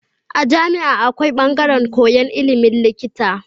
A jami'a akwai bangaran koyan ilimin likita